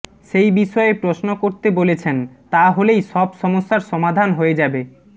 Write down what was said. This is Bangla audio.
সেই বিষয়ে প্রশ্ন করতে বলেছেন তা হলেই সব সমস্যার সমাধান হয়ে যাবে